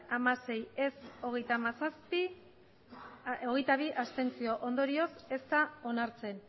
hamasei ez hogeita hamazazpi abstentzioak hogeita bi ondorioz ez da onartzen